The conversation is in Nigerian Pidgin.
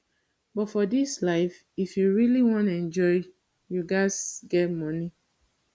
but for dis life if you really wan enjoy you ghas get money